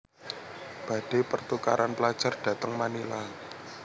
Badhe pertukaran pelajar dateng Manila